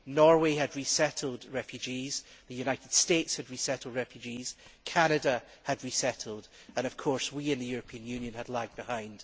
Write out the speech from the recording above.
Norway had resettled refugees, the United States had resettled refugees, Canada had resettled, and of course we in the European Union had lagged behind.